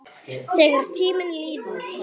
Þegar tíminn líður